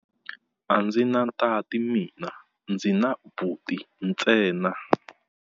A ndzi na tati mina, ndzi na buti ntsena.